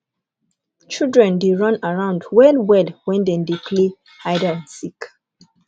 children dey run around wellwell wen dem dey play hide and seek